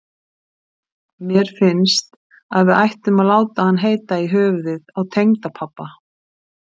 Mér finnst að við ættum að láta hann heita í höfuðið á tengdapabba.